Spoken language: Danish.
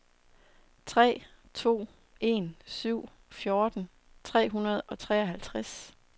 tre to en syv fjorten tre hundrede og treoghalvtreds